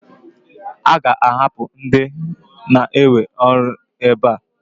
A ga-ahapụ ndị na-ewe ọrụ ebe a?